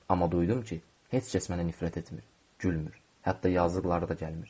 Amma duydum ki, heç kəs mənə nifrət etmir, gülmür, hətta yazıqları da gəlmir.